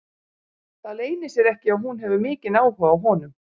Það leynir sér ekki að hún hefur mikinn áhuga á honum.